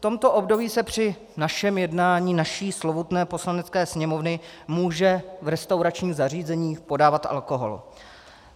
V tomto období se při našem jednání, naší slovutné Poslanecké sněmovny, může v restauračním zařízení podávat alkohol.